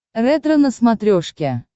ретро на смотрешке